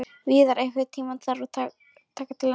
Víðar, einhvern tímann þarf allt að taka enda.